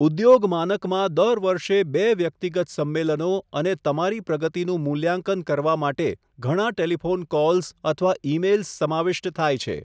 ઉદ્યોગ માનકમાં દર વર્ષે બે વ્યક્તિગત સમ્મેલનો અને તમારી પ્રગતિનું મૂલ્યાંકન કરવા માટે ઘણા ટેલિફોન કૉલ્સ અથવા ઇમેઇલ્સ સમાવિષ્ટ થાય છે.